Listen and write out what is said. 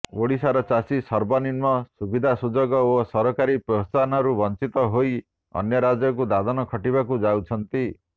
ଓଡ଼ିଶାର ଚାଷୀ ସର୍ବନିମ୍ନ ସୁବିଧାସୁଯୋଗ ଓ ସରକାରୀ ପ୍ରୋତ୍ସାହନରୁ ବଞ୍ଚିତ ହୋଇ ଅନ୍ୟ ରାଜ୍ୟକୁ ଦାଦନ ଖଟିବାକୁ ଯାଉଛନ୍ତି